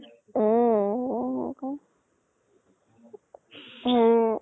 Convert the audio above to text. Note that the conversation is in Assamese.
উম উম